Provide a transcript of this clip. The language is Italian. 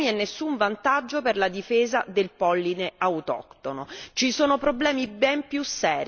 Ci sarebbe solo un calo dei consumi e nessun vantaggio per la difesa del polline autoctono.